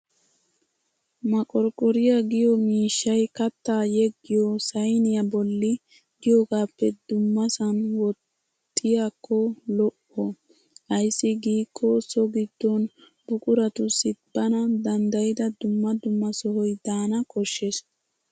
Maqorqqoriyaa giyo mishshay kattaa yeggiyo sayiniya bolli diyogaappe dummasan woxxiyaakko lo'o. Ayssi gidikko so giddon buquratussi bana danddayida dumma dumma sohoy daana koshshes.